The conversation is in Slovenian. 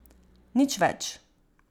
Nič več.